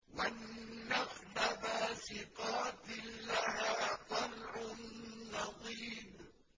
وَالنَّخْلَ بَاسِقَاتٍ لَّهَا طَلْعٌ نَّضِيدٌ